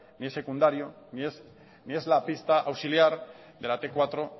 ni es secundario ni es la pista auxiliar de la te cuatro